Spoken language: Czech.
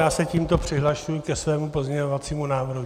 Já se tímto přihlašuji ke svému pozměňovacímu návrhu.